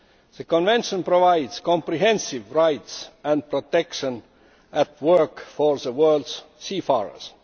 That Convention provides comprehensive rights and protection at work for the world's seafarers.